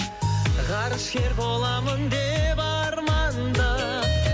ғарышкер боламын деп армандап